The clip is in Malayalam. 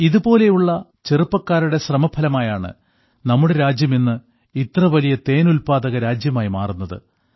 ഇതുപോലുള്ള ചെറുപ്പക്കാരുടെ ശ്രമഫലമായാണ് നമ്മുടെ രാജ്യം ഇന്ന് ഇത്ര വലിയ തേൻ ഉല്പാദക രാജ്യമായി മാറുന്നത്